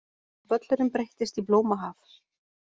Völlurinn breyttist í blómahaf.